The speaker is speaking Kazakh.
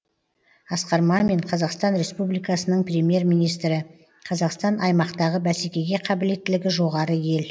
асқар мамин қазақстан республикасының премьер министрі қазақстан аймақтағы бәсекеге қабілеттілігі жоғары ел